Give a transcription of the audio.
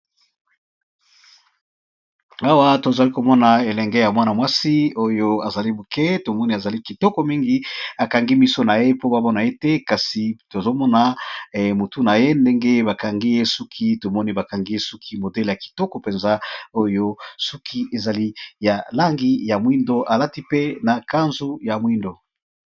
Awa tozali komona elenge ya mwana mwasi oyo azali moke tomoni azali kitoko mingi akangi miso na ye po bamona yete kasi tozomona motu na ye ndenge bakangi ye suki tomoni bakangi ye suki modele ya kitoko mpenza oyo suki ezali ya langi ya mwindo alati pe na kanzu ya mwindo.